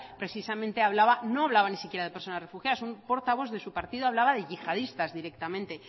precisamente hablaba no hablaba ni siquiera de personas refugiadas un portavoz de su partido hablaba de yihadistas directamente